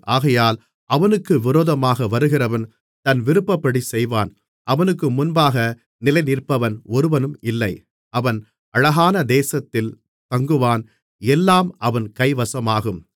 ஆகையால் அவனுக்கு விரோதமாக வருகிறவன் தன் விருப்பப்படிச் செய்வான் அவனுக்கு முன்பாக நிலைநிற்பவன் ஒருவனும் இல்லை அவன் அழகான தேசத்தில் தங்குவான் எல்லாம் அவன் கைவசமாகும்